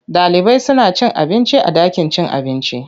Ɗalibai suna cin abinci a ɗakin cin abinci.